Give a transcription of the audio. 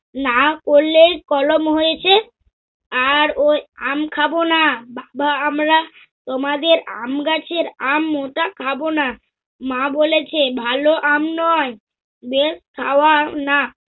না করলে কলম হয়েছে। আর ওই আম খাব না! বাবা আমরা তোমাদের আমগাছের আম ওটা খাব না। মা বলেছে ভালো আম নয় বেশ খাওয়ানা।